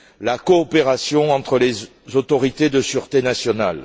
la coopération entre les autorités de sûreté nationale.